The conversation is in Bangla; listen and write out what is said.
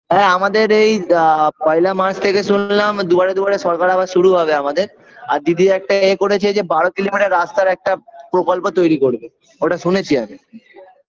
হ্যাঁ আমাদের এই আ পয়লা মাস থেকে শুনলাম দুয়ারে দুয়ারে সরকার আবার শুরু হবে আমাদের আর দিদি একটা এ করেছে যে বারো দিন রাস্তার একটা প্রকল্প তৈরি করবে ওটা শুনেছি আমি